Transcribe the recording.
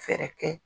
Fɛɛrɛ kɛ